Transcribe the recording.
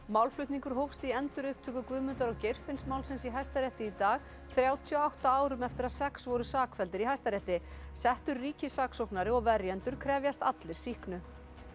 málflutningur hófst í endurupptöku Guðmundar og Geirfinnsmálsins í Hæstarétti í dag þrjátíu og átta árum eftir að sex voru sakfelldir í Hæstarétti settur ríkissaksóknari og verjendur krefjast allir sýknu